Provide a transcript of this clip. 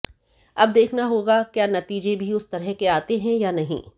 अब देखना होगा क्या नतीजे भी उस तरह के आते हैं या नहीं